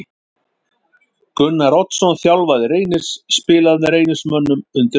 Gunnar Oddsson þjálfari Reynis spilaði með Reynismönnum undir lokin.